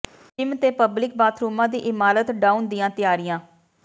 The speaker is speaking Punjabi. ਜਿੰਮ ਤੇ ਪਬਲਿਕ ਬਾਥਰੂਮਾਂ ਦੀ ਇਮਾਰਤ ਢਾਹੁਣ ਦੀਆਂ ਤਿਆਰੀਆਂ